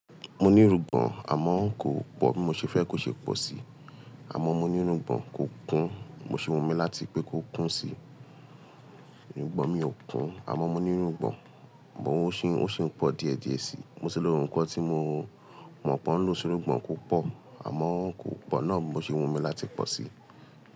Mo ní irungbọ̀n, àmọ́ kò pọ̀ bí mo ṣe fẹ́ kó ṣe pọ̀ sí. Àmọ́ mo ní irungbọ̀n kò kún, mo sì wumi láti pé kó kún sí. Irungbọ̀n mi ò kún, àmọ́ mo ní irungbọ̀n, but òún sì ń pọ̀ díẹ̀díẹ̀ sí i. Mo sì lo nkan tí mo mọ̀ pé ó ń lo sí irungbọ̀n kó pọ̀, àmọ́ kò pọ̀ náà, bi mo sì wumi láti pọ̀ sí i.